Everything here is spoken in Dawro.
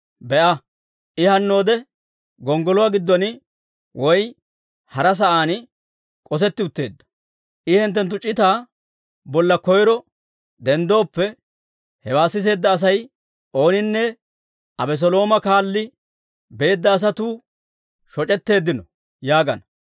Be'a, I hannoode gonggoluwaa giddon woy hara sa'aan k'osetti utteedda. I hinttenttu c'itaa bolla koyro denddooppe, hewaa siseedda Asay ooninne, ‹Abeselooma kaalli beedda asatuu shoc'etteeddino› yaagana.